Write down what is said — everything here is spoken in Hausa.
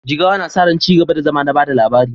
Jigawa na sa ran ci gaba da zama na ba da labari